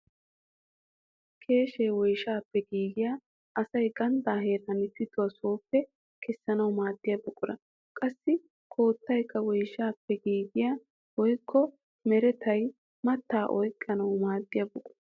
Keeshee woyshshaappe giigiyaa asay ganddaa heeran pituwaa sooppe kessanawu maadiyaa buqura. Qassi koottaykka woyshshaappe giigiyaa woykko merettiyaa mattaa oyqqiyoo maadiyaa buqura.